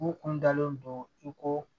U kun dalen don i ko